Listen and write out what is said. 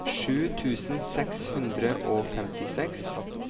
sju tusen seks hundre og femtiseks